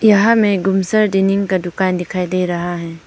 यहां में गुमसार डाइनिंग का दुकान दिखाई दे रहा है।